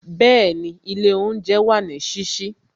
Bẹẹni, ilé oúnjẹ wà ní sísí